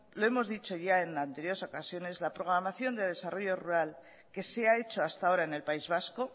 lo hemos dicho ya en anteriores ocasiones la programación del desarrollo rural que se ha hecho hasta ahora en el país vasco